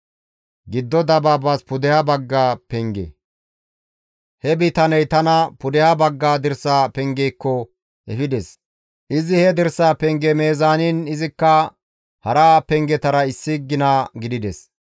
He bitaney tana pudeha bagga dirsa pengeekko efides. Izi he dirsa penge meezaaniin, izikka hara pengetara issi gina gidides.